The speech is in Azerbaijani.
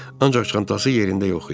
Ancaq çantası yerində yox idi.